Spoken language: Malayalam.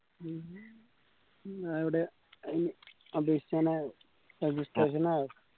അത് എവടെയാ അത് അപേക്ഷിക്കാനായോ registration ആയോ